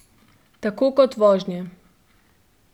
Tako kot vožnje.